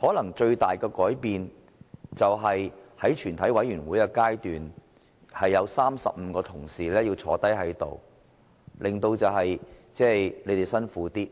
可能最大的改變是在全體委員會的階段，必須要有35位同事在席，因而令大家辛苦一點，